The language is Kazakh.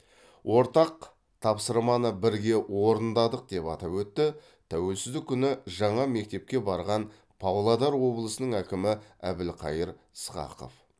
ортақ тапсырманы бірге орындадық деп атап өтті тәуелсіздік күні жаңа мектепке барған павлодар облысының әкімі әбілқайыр сқақов